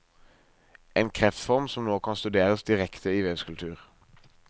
En kreftform som nå kan studeres direkte i vevskultur.